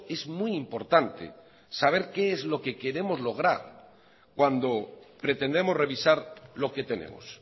es muy importante saber qué es lo que queremos lograr cuando pretendemos revisar lo que tenemos